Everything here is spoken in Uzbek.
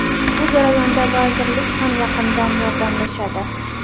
Bu jarayonda vazirlik ham yaqindan yordamlashadi.